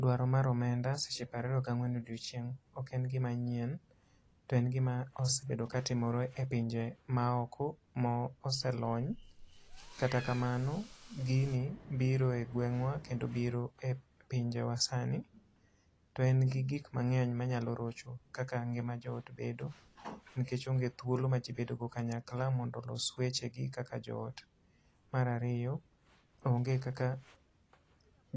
Dwaro mar omenda seche piero ariyo gi ang'wen odiechieng', ok en gima nyien. To en gima osebedo ka timore e pinje ma oko ma oselony. Kata kamano gini biro e gweng'wa kendo biro e pinje wa sani. To en gi gik mangény manyalo rocho kaka ngima jo ot bedo, nikech onge thuolo ma ji bedo go kanyakla mondo olos weche gi kaka jo ot. Mar ariyo, onge kaka